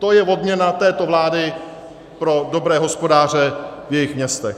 To je odměna této vlády pro dobré hospodáře v jejich městech.